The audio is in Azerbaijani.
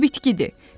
O bitkidir.